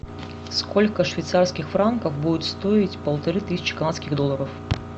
сколько швейцарских франков будет стоить полторы тысячи канадских долларов